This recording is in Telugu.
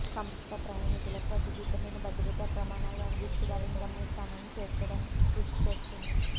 సంస్థ ప్రయాణికులకు కట్టుదిట్టమైన భద్రత ప్రమాణాలను అందిస్తూ వారిని గమ్య స్థానానికి చేర్చడానికి కృషి చేస్తుంది